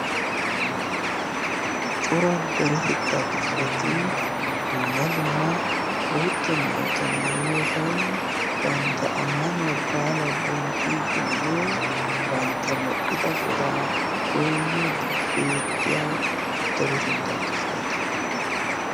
cora deretettaa kifiletii dumma dumma bootta maayota maayiyoogan bantta ammanuwaa baala bonchchiiddinne bantta medhdhida godaa goinni di beettiya daretettaa kifileta.